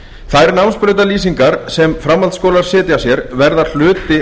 þær námsbrautarlýsingar sem framhaldsskólar setja sér verða hluti